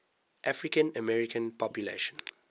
african american population